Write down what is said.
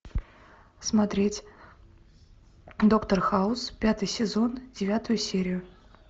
смотреть доктор хаус пятый сезон девятую серию